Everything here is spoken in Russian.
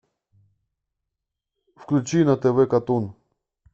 включи на тв катун